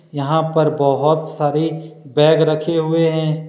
यहां पर बहुत सारी बैग रखे हुए हैं।